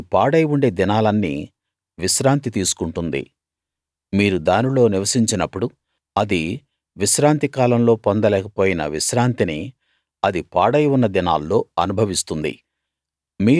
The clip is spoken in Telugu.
అది పాడై ఉండే దినాలన్నీ విశ్రాంతి తీసుకుంటుంది మీరు దానిలో నివసించినప్పుడు అది విశ్రాంతి కాలంలో పొందలేకపోయిన విశ్రాంతిని అది పాడై ఉన్న దినాల్లో అనుభవిస్తుంది